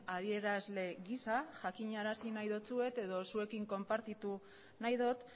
adierazle giza jakinarazi nahi dizuet edo zuekin konpartitu nahi dut